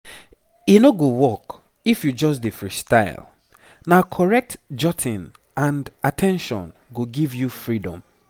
e no go work if you just dey freestyle. na correct jotting and at ten tion go give you freedom